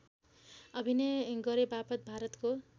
अभिनय गरेबापत भारतको